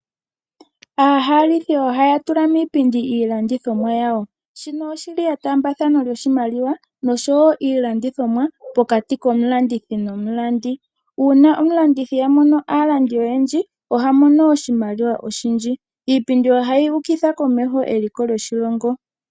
Aahalithi ohaya tula miipindi iilandithomwa yawo. Shino oshi li etaambathano lyoshimaliwa nosho wo iilandithomwa pokati komulandithi nomulandi. Uuna omulandithi a mono aalandi oyendji oha mono oshimaliwa oshindji. Iipindi ohayi ukitha komeho eliko lyoshilongo.